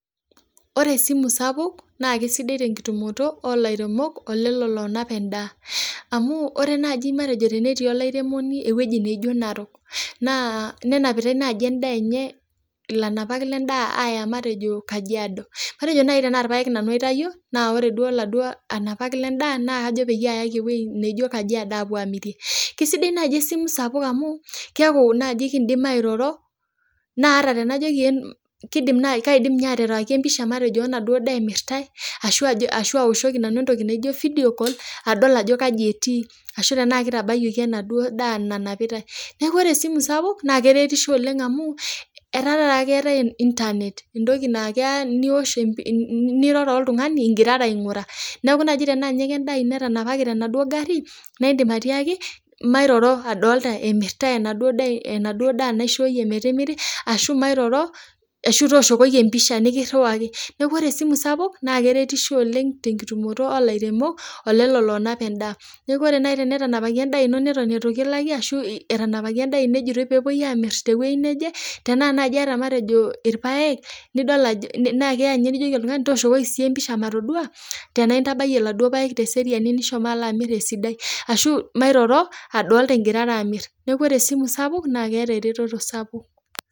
Ore esimu sapuk naa kisidai te kitumoto too ilairemok olelo loonap endaa amu ore naaji matejo tenetii olairemoni ewueji naijo Narok, naa nenapita endaa enye ilanapak lendaa aaya matejo Kajiado, matejo naaji tenaa irpaek naaji nanu itayio naa ore laduoo anapak lendaa naa kajo payaki ewueii naijo Kajiado apuo aamirie, kisidai naaji esimu sapuk amuu, keeku naaji ikidim airora naa tenajoki naaji kadim ninye airriwai episha matejo enaduoo daa emirrtae ashu aoshoki nanu entoki naji video call adol ajo kaji etii ashu tenaa kitabayioki enaduoo daa nanapitae , neeku kore esimu sapuk naa keretisho oleng amuu etaa taata keetae internet entoki naa keya niosh niroro oltung'ani igirara aingura , neeku tenaa kendaa ino etanapaki tenaduoo ngarri naa idim atiaaki mairoro aadolta emirrtae enaduoo daa naishoyie metimiri ashuu mairoro ashu tooshoki episha nikirriwaki, neeku kore esimu sapuk naa keretisho oleng tenitumomo ooh lairemok olelo oonap endaa, neeku ore naaji tenetapaki endaa ino neton eitu kilaki etanapaki endaa ino ejitoi peepoi amirr tewuei neje, tenaa naaji iata matejo irrpae nidol ajo idim nijoki oltungani tooshoki siitie episha natoduaa, tenaa intabayie laduoo park teseriani nishomo alo amirr esidai, ashuu toosho matooduaa igirara amirr, neeku kore esimu sapuk naa keeta eretoto sapuk.